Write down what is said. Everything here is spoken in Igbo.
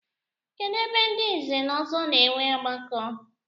Kedụ ebe ndị nze na ọzọ na-enwe ọgbakọ?